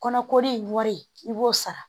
Kɔnɔkori wari i b'o sara